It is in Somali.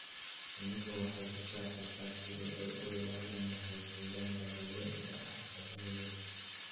Shinnidu waxay ka shaqeysaa sidii ay u ilaalin lahayd deegaanka dabiiciga ah ee webiyada.